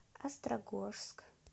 острогожск